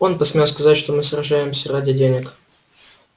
он посмел сказать что мы сражаемся ради денег